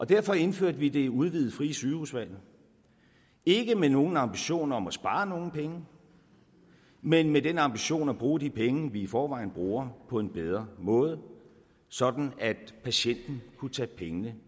derfor indførte vi det udvidede frie sygehusvalg ikke med nogen ambition om at spare nogle penge men med den ambition at bruge de penge vi i forvejen bruger på en bedre måde sådan at patienten kunne tage pengene